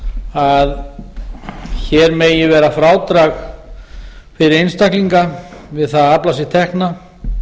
að hér megi vera frádrag fyrir einstaklinga við það að afla sér tekna